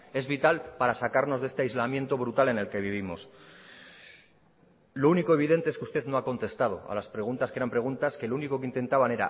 es vital para sacarnos de este aislamiento brutal en el que vivimos lo único evidente es que usted no ha contestado a las preguntas que eran preguntas que lo único que intentaban